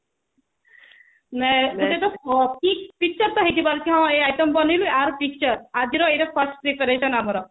ଗୋଟେ ଏ item ଟା ବନେଇବା ଆର picture ଆଜିର ଏତ first ଏଟା ଏକ number